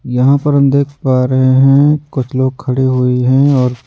यहां पर हम देख पा रहे हैं कुछ लोग खड़े हुए हैं और--